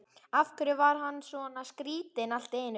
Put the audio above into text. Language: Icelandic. Af hverju var hann svona skrýtinn allt í einu?